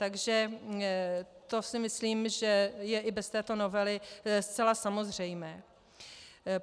Takže to si myslím, že je i bez této novely zcela samozřejmé.